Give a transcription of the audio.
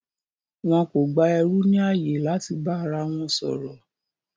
Wọn kò gba ẹrú ní ààyè láti bá ara wọn sọ̀rọ̀